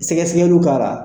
Sɛgɛsɛgɛliw kara